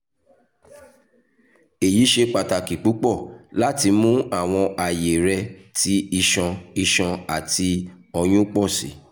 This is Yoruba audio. eyi ṣe pataki pupọ lati mu awọn aye rẹ ti iṣan iṣan ati oyun pọ si